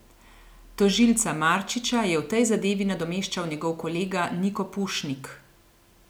Tožilca Marčiča je v tej zadevi nadomeščal njegov kolega Niko Pušnik.